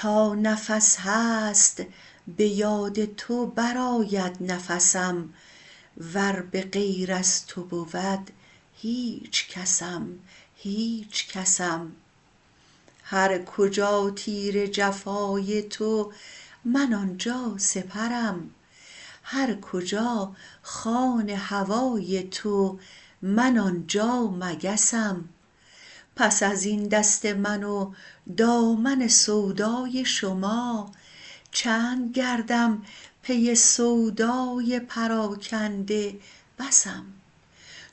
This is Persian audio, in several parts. تا نفس هست به یاد تو برآید نفسم ور به غیر از تو بود هیچکسم هیچکسم هر کجا تیر جفای تو من آنجا سپرم هر کجا خوان هوای تو من آنجا مگسم پس ازین دست من و دامن سودای شما چند گردم پی سودای پراکنده بسم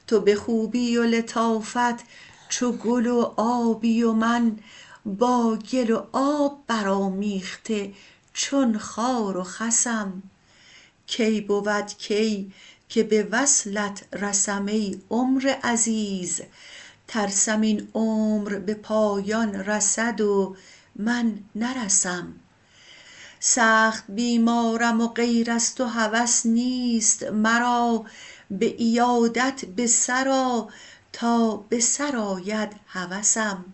تو به خوبی و لطافت چو گل و آبی و من با گل و آب برآمیخته چون خار و خسم کی بود کی که به وصلت رسم ای عمر عزیز ترسم این عمر به پایان رسد و من نرسم سخت بیمارم و غیر از تو هوس نیست مرا به عیادت به سرآ تا به سر آید هوسم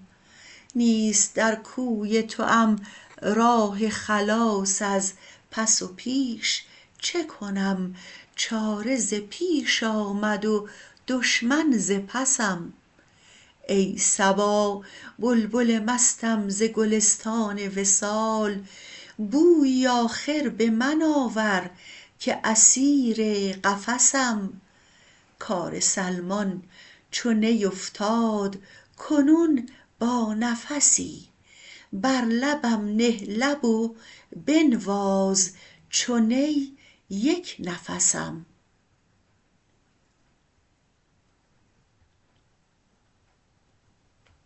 نیست در کوی توام راه خلاص از پس و پیش چه کنم چاره ز پیش آمد و دشمن ز پسم ای صبا بلبل مستم ز گلستان وصال بویی آخر به من آور که اسیر قفسم کار سلمان چو نی افتاد کنون با نفسی بر لبم نه لب و بنواز چو نی یک نفسم